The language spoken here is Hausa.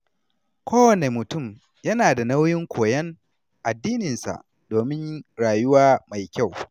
Kowane mutum yana da nauyin koyon addininsa domin rayuwa mai kyau.